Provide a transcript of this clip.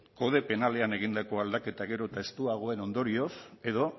kode penalean egindako aldaketak gero eta estuagoen ondorioz edo